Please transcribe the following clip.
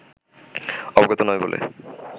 অবগত নয় বলে